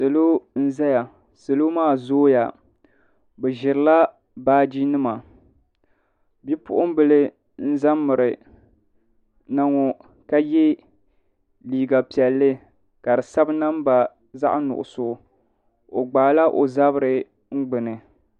Salo n zaya salo maa zooya bi ziri la baaji nima bia puɣun bila za n miri na ŋɔ ka ye liiga piɛlli ka di sabi namba zaɣi nuɣiso o gbaai la o zabiri n gbuni .